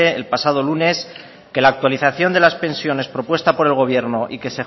el pasado lunes que la actualización de las pensiones propuestas por el gobierno y que